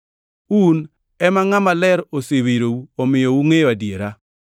Un ema Ngʼama Maler osewirou omiyo ungʼeyo adiera.